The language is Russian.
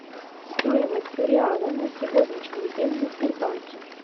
стоимость реала на сегодняшний день в сбербанке